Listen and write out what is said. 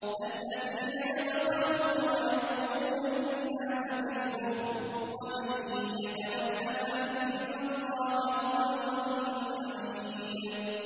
الَّذِينَ يَبْخَلُونَ وَيَأْمُرُونَ النَّاسَ بِالْبُخْلِ ۗ وَمَن يَتَوَلَّ فَإِنَّ اللَّهَ هُوَ الْغَنِيُّ الْحَمِيدُ